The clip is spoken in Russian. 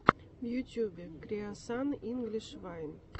в ютубе креосан инглиш вайн